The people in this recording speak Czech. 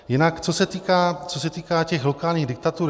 Jinak co se týká těch lokálních diktatur.